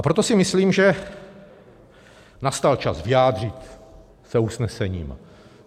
A proto si myslím, že nastal čas vyjádřit se usnesením.